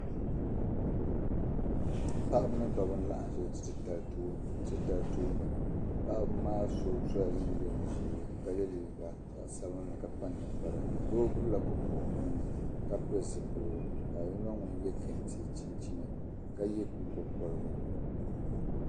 Paɣib n laɣim n za ti tali tooni paɣibi maa so sɔ la. jin jam ʒɛɛ. ka ye liiga ka di nyɛ zaɣi sabinli. ka kpa nin kpara doo gbubla kopu ɔnuuni ka pili zi piligu, zaɣi yiŋa ŋun ye kentɛ chinchini ka ye nyiŋgo koligu